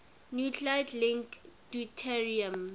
nuclide link deuterium